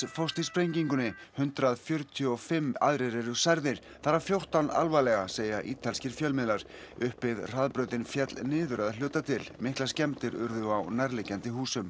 fórst í sprengingunni hundrað fjörutíu og fimm eru særðir þar af fjórtán alvarlega segja ítalskir fjölmiðlar uppbyggð hraðbrautin féll niður að hluta til miklar skemmdir urðu á nærliggjandi húsum